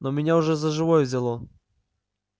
но меня уже за живое взяло